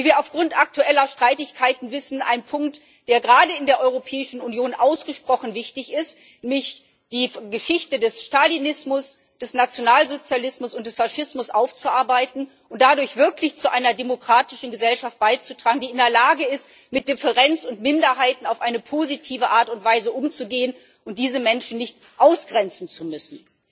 Wie wir aufgrund aktueller Streitigkeiten wissen, ist dies ein Punkt, der gerade in der Europäischen Union ausgesprochen wichtig ist, es geht nämlich darum, die Geschichte des Stalinismus, des Nationalsozialismus und des Faschismus aufzuarbeiten und dadurch wirklich zu einer demokratischen Gesellschaft beizutragen, die in der Lage ist, mit Differenz und Minderheiten auf eine positive Art und Weise umzugehen und diese Menschen nicht ausgrenzen zu müssen.